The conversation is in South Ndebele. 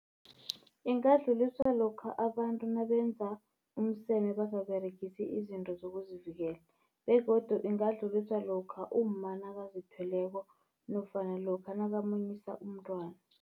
Ingadluliswa lokha abantu nabenza umseme bangaberegisi izinto zokuzivikela. Begodu ingadluliswa lokha umma nakazithweleko nofana lokha nakamunyisa umntwana.